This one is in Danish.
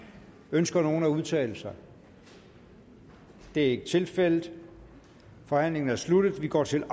ønsker nogen at udtale sig det er ikke tilfældet forhandlingen er sluttet og vi går til